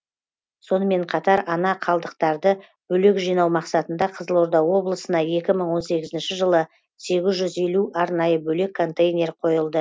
сонымен қатар ана қалдықтарды бөлек жинау мақсатында қызылорда облысына екі мың он сегізінші жылы сегіз жүз елу арнайы бөлек контейнер қойылды